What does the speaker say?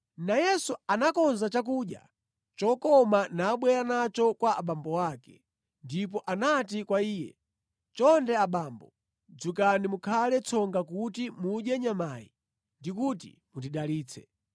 Nayenso anakonza chakudya chokoma nabwera nacho kwa abambo ake. Ndipo anati kwa iye, “Chonde abambo, dzukani mukhale tsonga kuti mudye nyamayi ndi kuti mundidalitse.”